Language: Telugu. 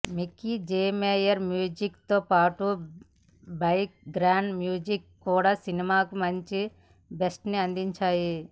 మిక్కీ జె మేయర్ మ్యూజిక్ తో పాటు బ్యాక్ గ్రౌండ్ మ్యూజిక్ కూడా సినిమాకి మంచి బూస్ట్ ని అందించాయి